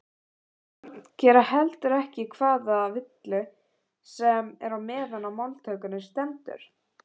Börn gera heldur ekki hvaða villu sem er meðan á máltökunni stendur.